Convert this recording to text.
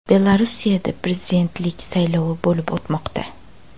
Belarusda prezidentlik saylovi bo‘lib o‘tmoqda .